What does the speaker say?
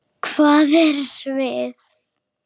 Hvað er svið?